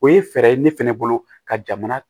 O ye fɛɛrɛ ye ne fɛnɛ bolo ka jamana